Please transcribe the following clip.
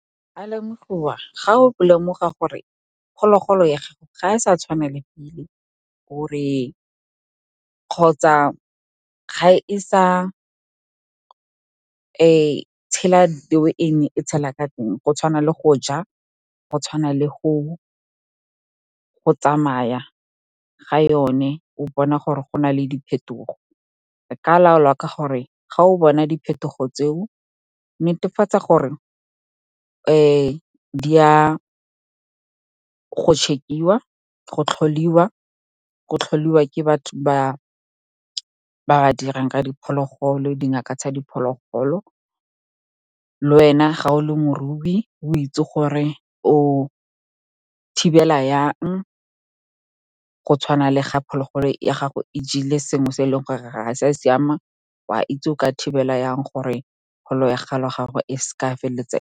Ga o lemoga gore phologolo ya gago ga e sa tshwana le pele, kgotsa ga e sa tshela the way e ne e tshela ka teng, go tshwana le go ja, go tshwana le go tsamaya ga yone, o bona gore go na le diphetogo. E ka laolwa ka gore, ga o bona diphetogo tseo, netefatsa gore di ya go tlholiwa ke dingaka tsa diphologolo. Le wena, ga o le morui, o itse gore o thibela yang, go tshwana le ga phologolo ya gago e jele sengwe se e leng gore ga se a siama, o a itse o ka thibela yang gore ya gago e se ka ya feleletsa.